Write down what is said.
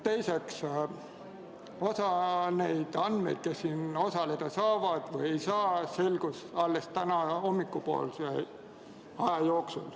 Teiseks, osa andmeid selle kohta, kes istungil osaleda saavad või ei saa, selgus alles täna hommikupoolikul.